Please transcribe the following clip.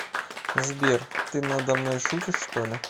сбер ты на домной шутишь что ли